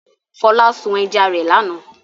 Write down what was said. Fọlá sun ẹja rẹ̀ lánàá.